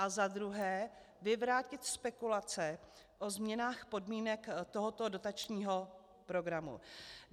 A za druhé, vyvrátit spekulace o změnách podmínek tohoto dotačního programu?